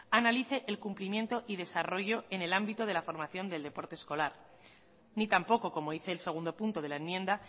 analice el cumplimiento y desarrollo en el ámbito de la formación del deporte escolar ni tampoco como dice el segundo punto de la enmienda